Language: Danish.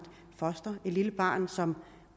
foster et lille barn som